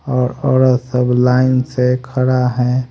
और औरत सब लाइन से खड़ा है।